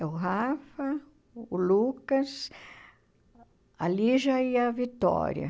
É o Rafa, o Lucas, a Lígia e a Vitória.